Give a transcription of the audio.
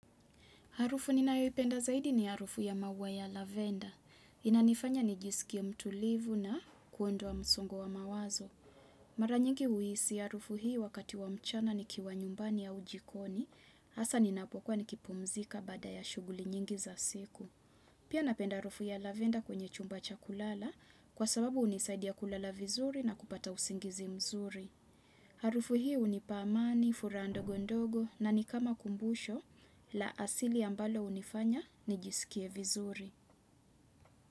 Harufu ninayoi penda zaidi ni harufu ya maua ya lavender. Inanifanya ni jisikie mtulivu na kuondoa msongo wa mawazo. Mara nyingi uisi harufu hii wakati wa mchana ni kiwa nyumbani ya ujikoni. Asa ninapokua ni kipumzika bada ya shuguli nyingi za siku. Pia napenda harufu ya lavender kwenye chumba chakulala kwa sababu unisaidia kulala vizuri na kupata usingizi mzuri. Harufu hi unipaamani, furaha ndogondogo na nikama kumbusho la asili ambalo unifanya ni jisikie vizuri.